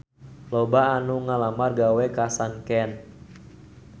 Loba anu ngalamar gawe ka Sanken